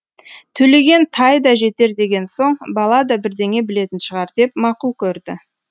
төлеген тай да жетер деген соң бала да бірдеңе білетін шығар деп мақұл көрді